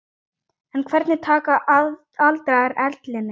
En hvernig taka aldraðir ellinni?